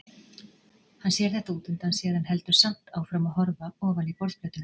Hann sér þetta útundan sér en heldur samt áfram að horfa ofan í borðplötuna.